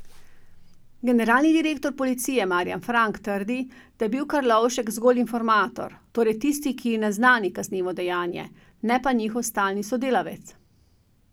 Generalni direktor policije Marjan Fank trdi, da je bil Karlovšek zgolj informator, torej tisti, ki naznani kaznivo dejanje, ne pa njihov stalni sodelavec.